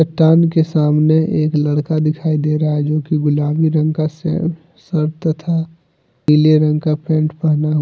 के सामने एक लड़का दिखाई दे रहा है जो की गुलाबी रंग का से सर्ट तथा पीले रंग का पैंट पहना हुआ--